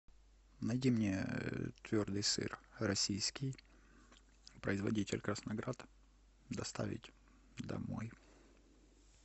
найди мне твердый сыр российский производитель красноград доставить домой